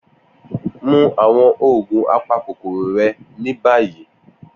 Mu awọn oogun apakokoro rẹ ni bayi!